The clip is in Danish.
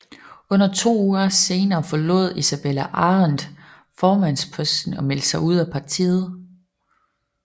Under to uger senere efter forlod Isabella Arendt formandsposten og meldte sig ud af partiet